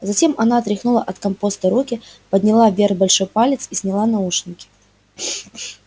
затем она отряхнула от компоста руки подняла вверх большой палец и сняла наушники